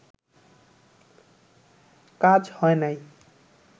কাজ হয় নাই